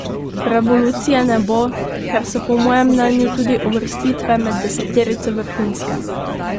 Revolucije ne bo, ker so po mojem mnenju tudi uvrstitve med deseterico vrhunske.